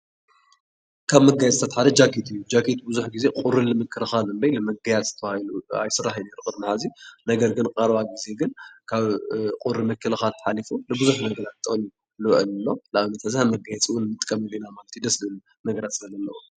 ካብ መጋየፅታት ሓደ ጃኬት እዩ፡፡ ጃኬት ብዙሕ ግዜ ቁሪ ልምክልኻል እምበይ ንመጋየፂ ተባሂሉ ኣይስራሕይ ቅድሚ ሕዚ፡፡ ነገር ግን ኣብ ቀረባ ግዜ ግን ካብ ቁሪ ምክልኻል ሓሊፉ ልዙሕ ነገራት ጥቕሚ ይውዕል ኣሎ፡፡ ንኣብነት ሕዚ ከም መጋየፂ እውን ንጥቀመሉ ኢና፡፡ ደስ ዝብል ነገራት ስለዘለዎ፡፡